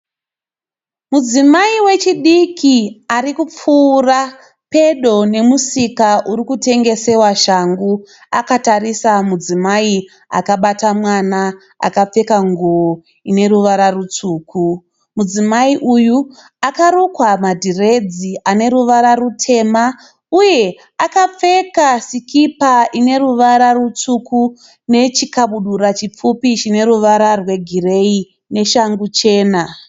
Mudzimai wechidiki arikupfuura pedo nemusika uri kutengesewa shangu. Akatarisa mudzimai akabata mwana akapfeka nguwo uneruvara rutsvuku. Mudzimai uyu akarukwa madhiredzi aneruvara rutema uye akapfeka sikipa ineruvara rutsvuku nechikabudura chipfupi chineruvara rwegireyi neshangu chena.